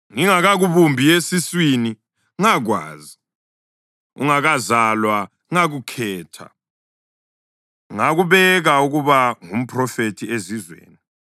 “Ngingakakubumbi esiswini ngakwazi, ungakazalwa ngakukhetha ngakubeka ukuba ngumphrofethi ezizweni.”